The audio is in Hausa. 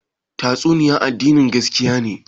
Tastunniya addini na gaskiya ne?